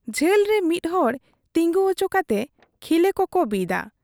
ᱡᱷᱟᱹᱞ ᱨᱮ ᱢᱤᱫ ᱦᱚᱲ ᱛᱤᱜᱩ ᱚᱪᱚ ᱠᱟᱛᱮ ᱠᱷᱤᱞᱟᱹ ᱠᱚᱠᱚ ᱵᱤᱫᱟ ᱾